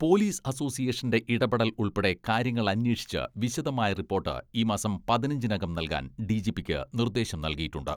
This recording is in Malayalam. പോലീസ് അസോസിയേഷന്റെ ഇടപെടൽ ഉൾപ്പെടെ കാര്യങ്ങൾ അന്വേഷിച്ച് വിശദമായ റിപ്പോട്ട് ഈ മാസം പതിനഞ്ചിനകം നൽകാൻ ഡിജിപിക്ക് നിർദ്ദേശം നൽകിയിട്ടുണ്ട്.